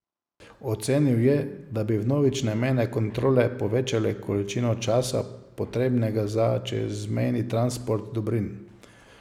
Ocenil je, da bi vnovične mejne kontrole povečale količino časa, potrebnega za čezmejni transport dobrin.